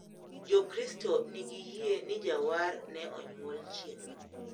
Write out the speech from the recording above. Jokristo nigi yie ni jawar ne onyuol chieng`no.